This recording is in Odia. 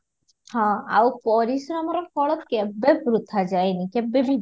ହଁ, ଆଉ ପରିଶ୍ରମର ଫଳ କେବେ ବୃଥା ଯାଏନି କେବେବି